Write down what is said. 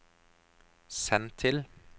send til